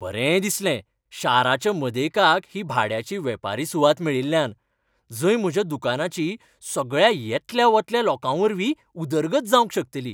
बरें दिसलें शाराच्या मदेकाक ही भाड्याची वेपारी सुवात मेळिल्ल्यान, जंय म्हज्या दुकानाची सगळ्या येतल्या वतल्या लोकांवरवीं उदरगत जावंक शकतली.